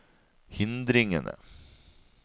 hindringene